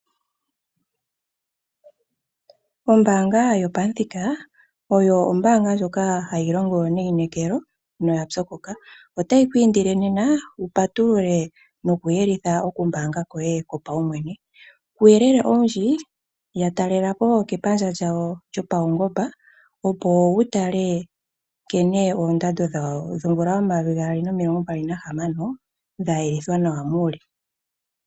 Ombanga yopamuthika oyo ombaanga ndjoka hayi longo neyinekelo noya pyokoka, otayi kwiindile nena wupatulule nokuyelitha okumanga koye kopawumwene, uuyelele owindji yatalelepo kepandja lyawo lyopawungomba opo wutale nkene oondando dhomvula 2026 dhayelithwa muule.